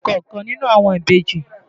Táíwò ni orúkọ ọ̀kan nínú àwọn ìbejì.